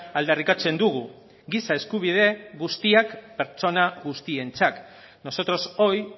aldarrikatzen dugu giza eskubide guztiak pertsona guztientzat nosotros hoy